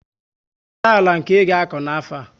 Kedu àlà nke i ga akọ n' afo a?